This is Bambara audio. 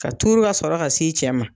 Ka turu ka sɔrɔ ka s'i cɛ ma.